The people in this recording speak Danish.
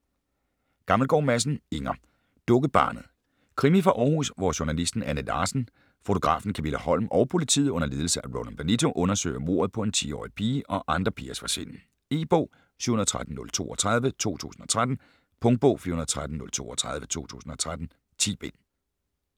Gammelgaard Madsen, Inger: Dukkebarnet Krimi fra Århus, hvor journalisten Anne Larsen, fotografen Kamilla Holm og politiet under ledelse af Roland Benito undersøger mordet på en 10-årig pige og andre pigers forsvinden. E-bog 713032 2013. Punktbog 413032 2013. 10 bind.